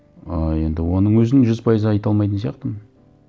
ыыы енді оның өзін жүз пайыз айта алмайтын сияқтымын